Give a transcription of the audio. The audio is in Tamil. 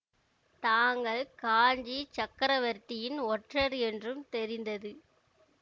தாங்கள் காஞ்சிச் சக்கரவர்த்தியின் ஒற்றர் என்றும் தெரிந்தது